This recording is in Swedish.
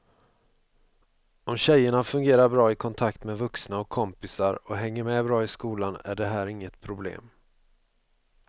Om tjejerna fungerar bra i kontakt med vuxna och kompisar och hänger med bra i skolan är det här inget problem.